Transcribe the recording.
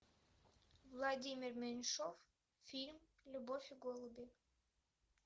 владимир меньшов фильм любовь и голуби